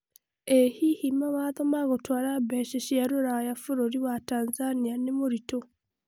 ĩ hihi mawatho ma gũtwara mbeca cia rũraya bũrũri wa Tanzania nĩ mũritũ?